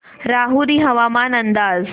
राहुरी हवामान अंदाज